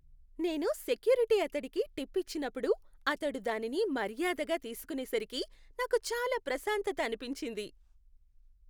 నేను సెక్యూరిటీ అతడికి టిప్ ఇచ్చినప్పుడు, అతడు దానిని మర్యాదగా తీసుకునేసరికి నాకు చాలా ప్రశాంతత అనిపించింది.